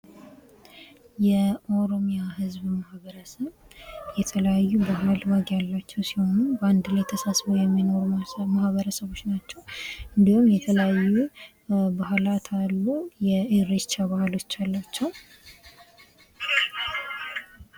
የኦሮሚያ ህዝብ ማህበረሰብ የተለያዩ ባህል፣ ወግ ያላቸው ሲሆኑ በአንድ ተሳስበው የሚኖሩ ማህበረሰቦች ናቸው። እንዲሁም የተለያዩ ባህላት አሉ የእሬቻ ባህሎች አሏቸው።